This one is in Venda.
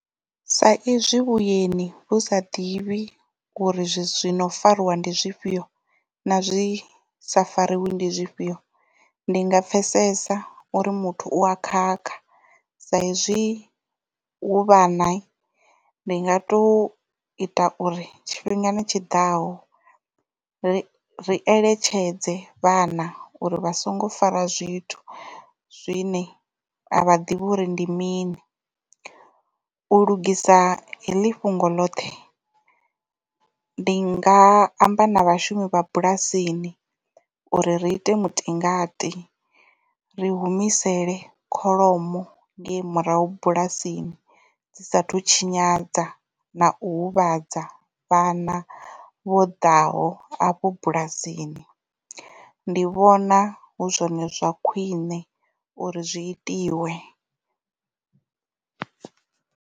Sa izwi vhueni vhu sa ḓivhi uri zwithu zwino fariwa ndi zwifhio na zwi sa fariwe ndi zwifhio ndi nga pfesesa uri muthu u a khakha sa izwi hu vhana ndi nga to ita uri tshifhingani tshiḓaho ri eletshedze vhana uri vha songo fara zwithu zwine a vha ḓivhi uri ndi mini. U lugisa heḽi fhungo ḽoṱhe ndi nga amba na vhashumi vha bulasini uri ri ite mutingati ri humisele kholomo ngei murahu bulasini dzi sathu tshinyadza na u huvhadza vhana vho ḓaho afho bulasini ndi vhona hu zwone zwa khwiṋe uri zwi itiwe.